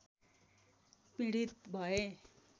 पीडित भए